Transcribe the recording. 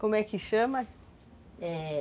Como é que chama? É...